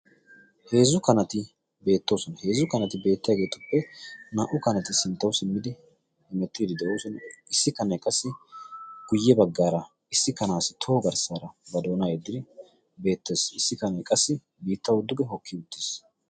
Heezzu kanati beettoosona heezzu kanati beettaaageetuppe naa"u kanati sinttau simmidi hemettiidi de'oosona. issi kanee qassi guyye baggaara issi kanaassi toho garssaara ba doona eddii beettees issi kanee qassi biitta dduge hokki uttiis.